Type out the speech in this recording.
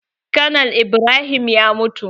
Konal Ibrahim ya mutu.